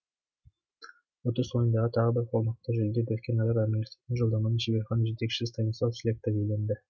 ұтыс ойынындағы тағы бір қомақты жүлде біріккен араб әмірліктеріне жолдаманы шеберхана жетекшісі станислав слектор иеленді